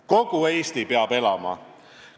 Kogu Eesti peab elama!